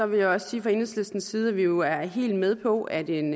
vil jeg også sige fra enhedslistens side at vi jo er helt med på at en